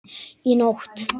Í nótt?